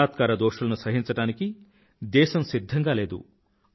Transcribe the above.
బలాత్కార దోషులను సహించడానికి దేశం సిధ్ధంగా లేదు